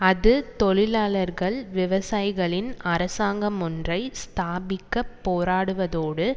அது தொழிலாளர்கள் விவசாயிகளின் அரசாங்கமொன்றை ஸ்தாபிக்கப் போராடுவதோடு